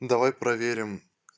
давай проверим